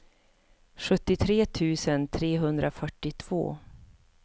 sjuttiotre tusen trehundrafyrtiotvå